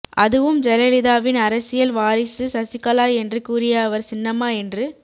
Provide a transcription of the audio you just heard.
அதுவும் ஜெயலலிதாவின் அரசியல் வாரிசு சசிகலா என்று கூறிய அவர் சின்னம்மா என்று